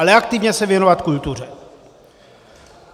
Ale aktivně se věnovat kultuře.